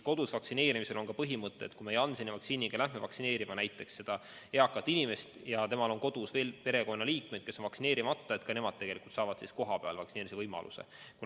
Kodus vaktsineerimisel on põhimõte, et kui me Jansseni vaktsiiniga lähme vaktsineerima eakat inimest, kellel on kodus perekonnaliikmeid, kes on vaktsineerimata, siis et ka nemad saavad kohapeal vaktsineerimise võimaluse.